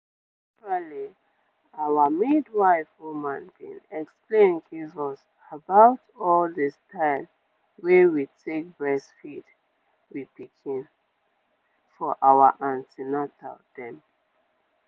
actually our midwife woman bin explain give us about all the style wey we take breastfeed we pikin for our an ten atal dem.